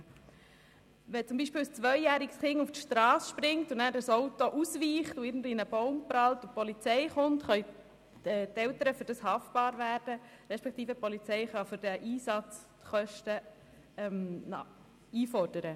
Wenn beispielsweise ein zweijähriges Kind auf die Strasse springt, ein Autofahrer ausweicht, in einen Baum prallt und die Polizei kommen muss, können die Eltern dafür haftbar gemacht werden, beziehungsweise die Polizei kann die Kosten des Einsatzes einfordern.